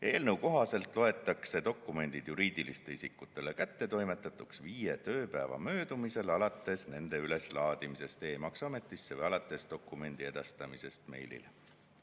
Eelnõu kohaselt loetakse dokumendid juriidilistele isikutele kättetoimetatuks viie tööpäeva möödumisel alates nende üleslaadimisest e-maksuametisse või alates dokumendi edastamisest meilile.